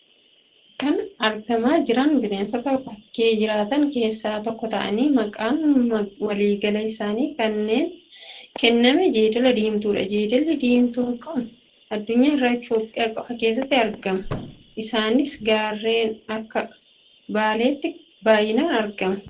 Kan argamaa jiran bineensota bakkee jiraatan keessaa tokko ta'anii, maqaan waliigalaa isaaniif kenname jeedala diimtuudha. Jeedalli deemtuun kun addunyaa irraa Itoophiyaa qofa keeessatti argamu. Isaanis gaarreen akka Baaleetti baay'inaan argamu.